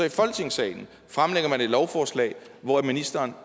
i folketingssalen fremlægger man så et lovforslag hvor ministeren